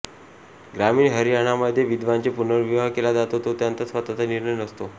ग्रामीण हरियाणामध्ये विधवांचे पुनर्विवाह केला जातो तो त्यांचा स्वतःचा निर्णय नसतो